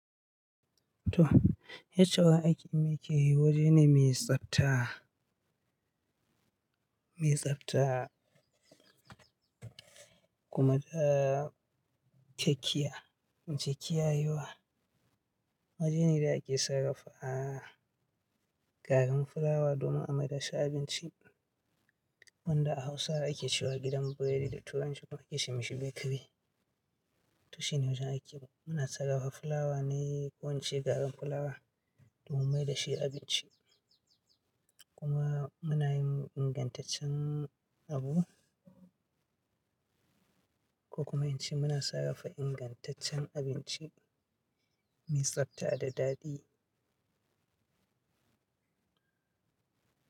To, HUI ake miye yake, waje ne mai tsafta, mai tsafta kuma da kekiya, in ce kiyayewa. Wajene da ake sarrafa gagan fulawa domin a mai da shi abinci. Wanda a Hausa ake cewa gidan biredi da turanci ake ce ma shi bakery. To shi ne wajen aiki na. Muna sarrafa fulawa na kowacce gagan fulawa mu mai da shi abinci. Kuma muna yin ingantaccen abu ko kuma in ce muna sarrafa ingantaccen abinci mai tsafta da daɗi.